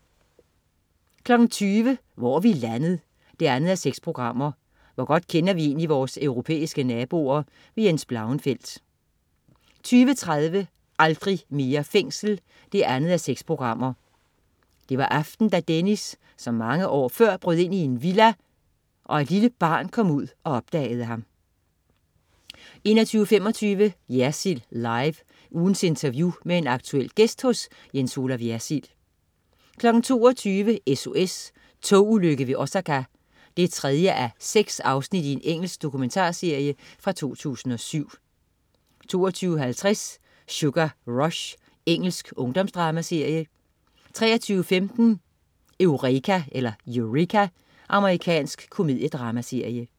20.00 Hvor er vi landet? 2:6. Hvor godt kender vi egentlig vores europæiske naboer? Jens Blauenfeldt 20.30 Aldrig mere fængsel 2:6. Det var aften, da Dennis, som mange før, brød ind i en villa og et lille barn kom ud og opdagede ham 21.25 Jersild Live. Ugens interview med en aktuel gæst hos Jens Olaf Jersild 22.00 SOS: Togulykke ved Osaka 3:6. Engelsk dokumentarserie fra 2007 22.50 Sugar Rush. Engelsk ungdomsdramaserie 23.15 Eureka. Amerikansk komediedramaserie